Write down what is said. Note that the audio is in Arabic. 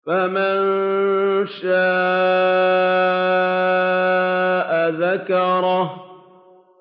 فَمَن شَاءَ ذَكَرَهُ